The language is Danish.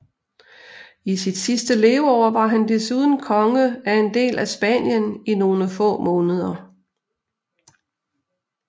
I sit sidste leveår var han desuden konge af en del af Spanien i nogle få måneder